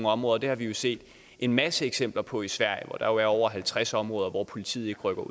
områder det har vi jo set en masse eksempler på i sverige hvor der er over halvtreds områder hvor politiet ikke rykker